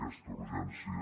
aquesta urgència